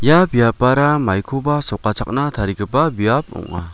ia biapara maikoba sokachakna tarigipa biap ong·a.